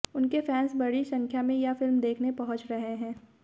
उनके फैन्स बड़ी संख्या में यह फिल्म देखने पहुंच रहे हैं